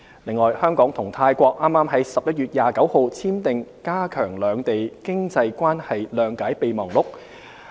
此外，香港與泰國剛於11月29日簽訂"加強兩地經濟關係諒解備忘錄"。